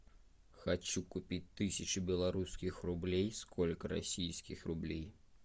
хочу купить тысячу белорусских рублей сколько российских рублей